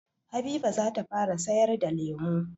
Habiba zata fara sayar da lemu.